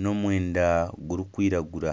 n'omwenda gurikwiragura